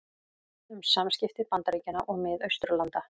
Um samskipti Bandaríkjanna og Mið-Austurlanda